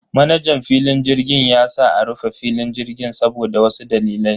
Manajan filin jirgin ya sa a rufe filin jirgin saboda wasu dalilai.